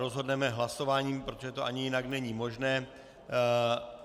Rozhodneme hlasováním, protože to ani jinak není možné.